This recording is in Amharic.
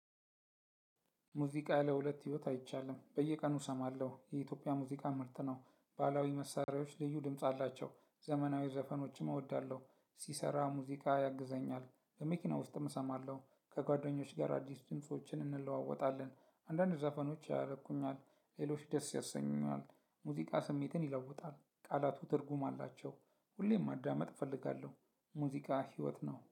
ሙዚቃ ለሁለት ህይወት አይቻልም በየቀኑ እሰማለሁ የኢትዮጵያ ሙዚቃ ምርጥ ነው። ባህላዊ መሳሪያዎች ልዩ ድምጽ አላቸው። ዘመናዊ ዘፈኖችም እወዳለሁ። ሲሰራ ሙዚቃ ያግዘኛል። በመኪና ውስጥም እሰማለሁ። ከጓደኞች ጋር አዲስ ጅንሶችን እንለዋወጣለን። አንዳንድ ዘፈኖች ያረኩኛል። ሌሎች ደስ ያሰኙኛል። ሙዚቃ ስሜትን ይለውጣል ቃላቱ ትርጉም አላቸው። ሁሌም ማዳመጥ እፈልጋለሁ። ሙዚቃ ህይወት ነው